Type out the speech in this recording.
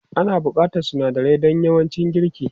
Ana buƙatar sunadarai don yawancin girki.